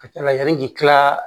Ka ca ala k'i kila